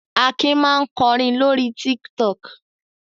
Akin máa ń kọrin lórí Tiktok.